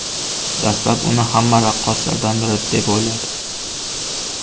Dastlab, uni hamma raqqoslardan biri deb o‘yladi.